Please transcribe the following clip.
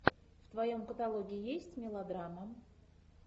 в твоем каталоге есть мелодрама